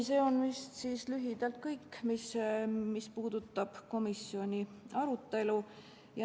See on lühidalt kõik, mis puudutab komisjoni arutelu.